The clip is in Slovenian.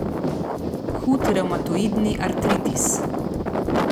Hud revmatoidni artritis.